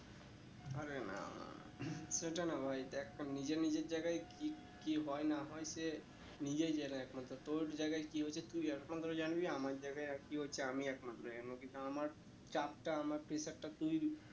আরে না না না সেটা না ভাই দেখ তো নিজে নিজের জায়গায় কি কি হয়ে না হয়ে সে নিজেই জানে একমাত্র তোর জায়গায় কি হচ্ছে তুই একমাত্র জানবি আমার জায়গায় কি হচ্ছে আমি একমাত্র জানবো কিন্তু আমার চাপ টা আমার pressure টা তুই